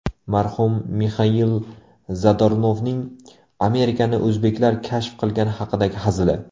Marhum Mixail Zadornovning Amerikani o‘zbeklar kashf qilgani haqidagi hazili .